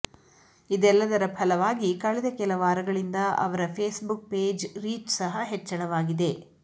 ಇದೆಲ್ಲದರ ಫಲವಾಗಿ ಕಳೆದ ಕೆಲ ವಾರಗಳಿಂದ ಅವರ ಫೇಸ್ಬುಕ್ ಪೇಜ್ ರೀಚ್ ಸಹ ಹೆಚ್ಚಳವಾಗಿದೆ